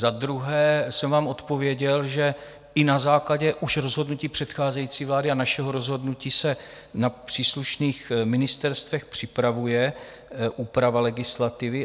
Za druhé jsem vám odpověděl, že i na základě už rozhodnutí předcházející vlády a našeho rozhodnutí se na příslušných ministerstvech připravuje úprava legislativy.